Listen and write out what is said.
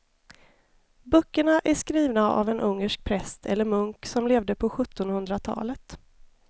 Böckerna är skrivna av en ungersk präst eller munk som levde på sjuttonhundratalet.